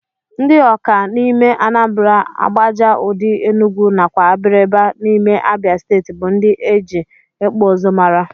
Ndi ọka n'ime anambra, agbaja udi enugu nakwa abriba n'ime abia stetii bu ndi eji ikpụ ụzụ mara.